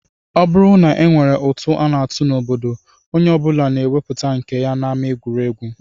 Ọ bụrụ na e nwere ụtụ a na-atụ n'obodo, onye ọ bụla na-ewepụta nke ya n'ama egwuregwu